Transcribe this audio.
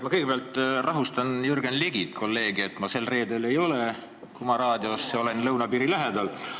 Ma kõigepealt rahustan Jürgen Ligi, kolleegi, et ma sel reedel ei ole Kuma Raadios, ma olen lõunapiiri lähedal.